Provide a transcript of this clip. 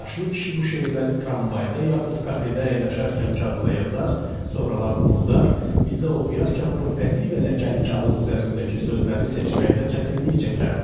Yaşlı kişi bu şeirləri tramvayda yaxud kafedə əyləşərkən kağıza yazar, sonralar unudar, bizə oxuyarkən bu əzik və ləkəli kağız üzərindəki sözləri seçməkdə çətinlik çəkərdi.